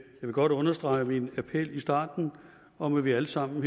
vil godt understrege min appel i starten om at vi alle sammen